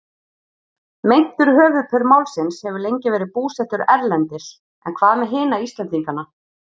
Meintur höfuðpaur málsins hefur lengi verið búsettur erlendis en hvað með hina Íslendingana?